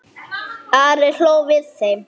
Ari hló við þeim.